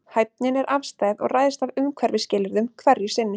Hæfnin er afstæð og ræðst af umhverfisskilyrðum hverju sinni.